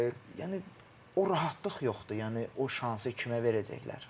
Yəni o rahatlıq yoxdur, yəni o şansı kimə verəcəklər?